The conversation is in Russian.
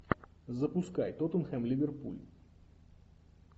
запускай тоттенхэм ливерпуль